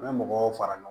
U bɛ mɔgɔw fara ɲɔgɔn